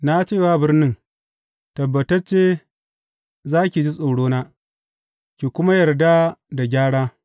Na ce wa birnin, Tabbatacce za ki ji tsorona ki kuma yarda da gyara!’